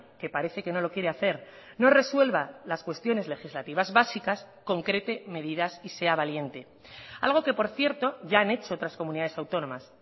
que parece que no lo quiere hacer no resuelva las cuestiones legislativas básicas concrete medidas y sea valiente algo que por cierto ya han hecho otras comunidades autónomas